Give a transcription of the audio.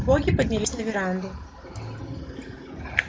боги поднялись на веранду